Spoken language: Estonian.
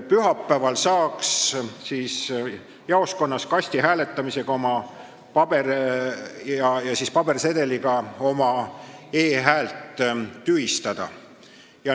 Pühapäeval saaks jaoskonnas pabersedeli kasti laskmisega oma e-häält tühistada.